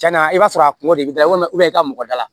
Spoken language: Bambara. Cɛn na i b'a sɔrɔ a kungo de bɛ da walima i ka mɔgɔ da la